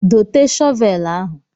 Dote shọvelu ahụ.